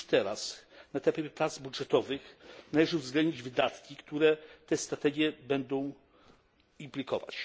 z tym już teraz, na etapie prac budżetowych, należy uwzględnić wydatki, które tę strategię będą implikować.